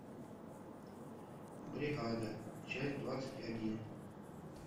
бригада часть двадцать один